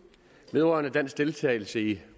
vedrørende dansk deltagelse i